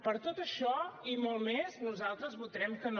per tot això i molt més nosaltres votarem que no